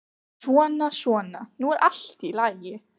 Svona, svona, nú er allt í lagi.